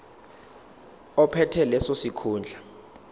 ophethe leso sikhundla